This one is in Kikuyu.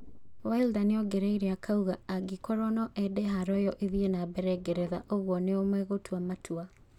Wilder nĩongereire akauga "angĩkorwo noende haro iyo ĩthiĩ na mbere Ngeretha ũguo nĩo megũtua matua"